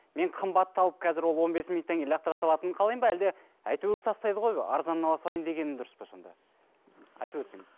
мен қымбатты алып қазір ол он бес минуттан кейін лақтыра салатынын қалаймын ма әлде әйтеуір тастайды ғой арзанын ала салайын дегені дұрыс па сонда айтып өтсеңіз